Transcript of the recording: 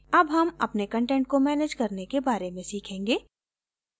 अब हम अपने कंटेंट को मैनेज करने के बारे में सीखेंगे